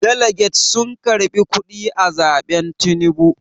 daliget sun karɓi kuɗi a zaɓen Tinubu